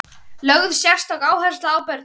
Lögð sérstök áhersla á börnin.